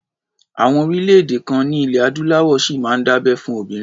Àwọn orílẹ̀-èdè kan ní ilẹ̀ Adúláwọ̀ ṣì máa ń dábẹ́ fún obìnrin.